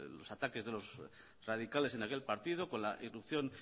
los ataques de los radicales en aquel partido con la irrupción